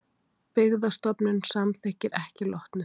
Byggðastofnun samþykkir ekki Lotnu